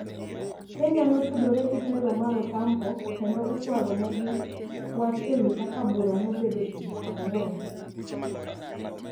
Kenya notudore gi telo mar Otampo kendo ochwalonegi wach ewi kaka bura nobedo tich ang`wen.